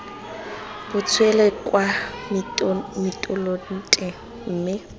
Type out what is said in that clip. bo tswele kwa mitolente mme